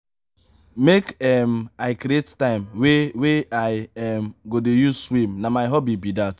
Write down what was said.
make um i create time wey wey i um go dey use swim na my hobby be dat.